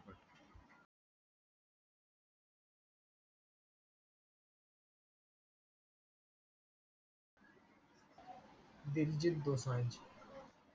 Diljit Dosanjh